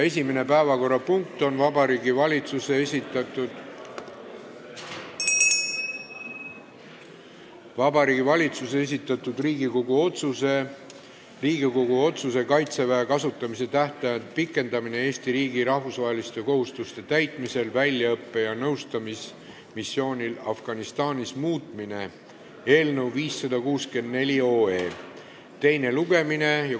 Esimene päevakorrapunkt on Vabariigi Valitsuse esitatud Riigikogu otsuse "Riigikogu otsuse "Kaitseväe kasutamise tähtaja pikendamine Eesti riigi rahvusvaheliste kohustuste täitmisel väljaõppe- ja nõustamismissioonil Afganistanis" muutmine" eelnõu 564 teine lugemine.